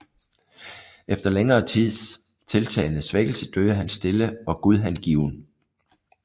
Efter længere tids tiltagende svækkelse døde han stille og gudhengiven 2